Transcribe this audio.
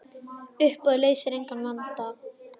Uppboð leysir engan vanda.